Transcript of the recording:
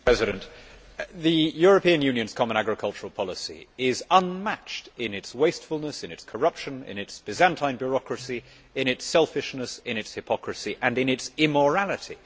Mr President, the European Union's common agricultural policy is unmatched in its wastefulness, in its corruption, in its Byzantine bureaucracy, in its selfishness, in its hypocrisy and in its immorality.